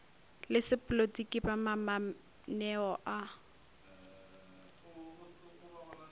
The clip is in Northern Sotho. le sepolotiki ba mamaneo a